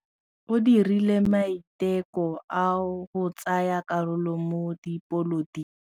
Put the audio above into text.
O dirile maitekô a go tsaya karolo mo dipolotiking.